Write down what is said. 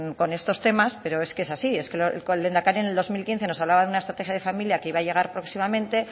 con estos temas pero es que es así es que el lehendakari en el dos mil quince nos hablaba de una estrategia de familia que iba a llegar próximamente